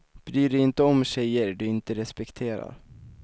Bry dig inte om tjejer du inte respekterar.